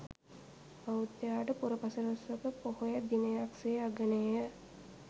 බෞද්ධයාට පුරපසළොස්වක පොහොය දිනයක් සේ අගනේය.